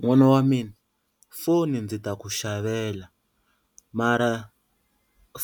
N'wana wa mina foni ndzi ta ku xavela mara